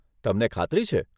તમને ખાતરી છે?